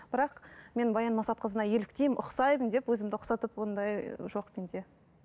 бірақ мен баян мақсатқызына еліктеймін ұқсаймын деп өзімді ұқсатып ондай жоқ менде